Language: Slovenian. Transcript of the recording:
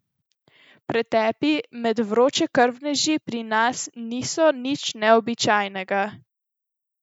Pretepi med vročekrvneži pri nas niso nič neobičajnega.